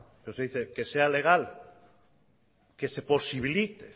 pero se dice que sea legal que se posibilite